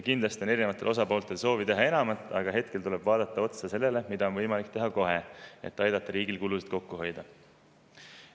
Kindlasti on osapooltel soov teha enamat, aga hetkel tuleb vaadata, mida on võimalik teha kohe, et aidata riigil kulusid kokku hoida.